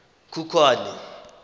khukhwane